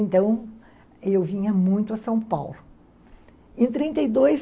Então, eu vinha muito a São Paulo. Em trinta e dois,